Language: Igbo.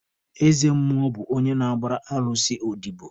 Eze mmụọ bụ onye na-agbara alụsị odobo.